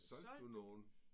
Solgte du nogen?